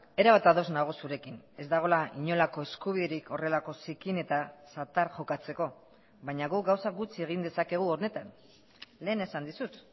erabat ados nago zurekin ez dagoela inolako eskubiderik horrelako zikin eta zatar jokatzeko baina guk gauza gutxi egin dezakegu honetan lehen esan dizut